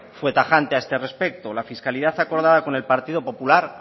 fue tajante a este respecto la fiscalidad acordada con el partido popular